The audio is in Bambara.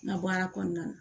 N ka baara kɔnɔna na